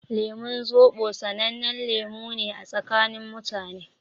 Lemun Zobo sanannen lemu ne a tsakanin mutane.